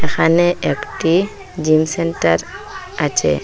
এখানে একটি gym centre আছে।